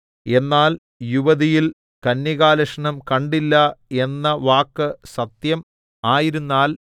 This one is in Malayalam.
എന്നാൽ യുവതിയിൽ കന്യകാലക്ഷണം കണ്ടില്ല എന്ന വാക്ക് സത്യം ആയിരുന്നാൽ